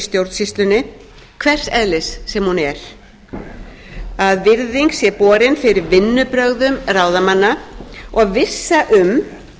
stjórnsýslunni hvers eðlis sem hún er að virðing sé borin fyrir vinnubrögðum ráðamanna og vissa um